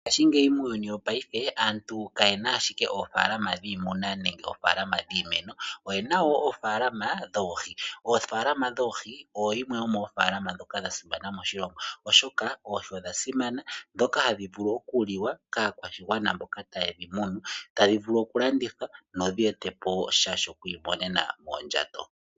Mongashi ngeyi muuyuni wo payife aantu kayena ashike ofaalama dhimuna nenge ofaalama dhimeno, oyena wo ofaalama dhoohi, ofaalama dhoohi oyo yimwe yo mofalama dhasimana moshilongo oshoka oohii odha simana dhoka ha dhivulu okuliwa kakwashingwana mboka tayedhimunu, tadhivulu okulandithwa nodheteposha shokwimonena mondjato.